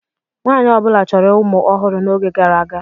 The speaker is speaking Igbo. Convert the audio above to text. Nwaanyị ọ bụla chọrọ ụmụ ọhụrụ n'oge gara aga.